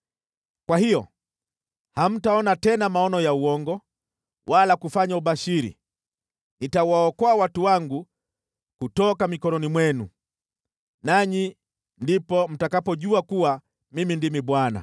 kwa hiyo hamtaona tena maono ya uongo wala kufanya ubashiri. Nitawaokoa watu wangu kutoka mikononi mwenu. Nanyi ndipo mtakapojua kuwa Mimi ndimi Bwana .’”